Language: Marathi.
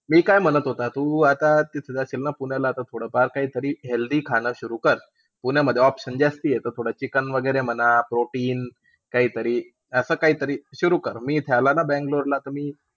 मी काय म्हणत होतं, तू आता तू तिथं जशीलन पुण्याला थोडंफार काहीतरी healthy खाणं सुरु कर. पुण्यामध्ये options जास्ती आहे. Chicken वगैरे म्हणा, protein काहीतरी, असं काहीतरी सुरु कर. मी इथं आला ना बँगलोर ला,